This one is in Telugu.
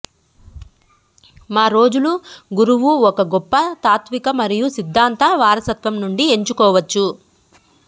మా రోజులు గురువు ఒక గొప్ప తాత్విక మరియు సిద్ధాంత వారసత్వం నుండి ఎంచుకోవచ్చు